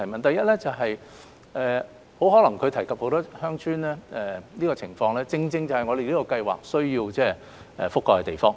第一，她提到很多鄉村的情況，這些正是我們這項資助計劃希望能覆蓋的地方。